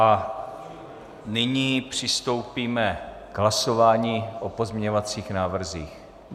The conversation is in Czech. A nyní přistoupíme k hlasování o pozměňovacích návrzích.